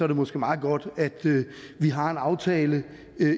det måske meget godt at vi har en aftale